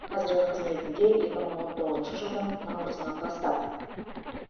қазіргі қызметінде екі мың он тоғызыншы жылдың наурызынан бастап